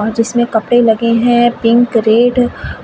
और जिसमें कपडे लगे हैं पिंक रेड